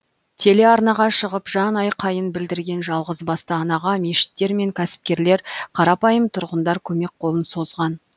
телеарнаға шығып жанайқайын білдірген жалғызбасты анаға мешіттер мен кәсіпкерлер қарапайым тұрғындар көмек қолын созған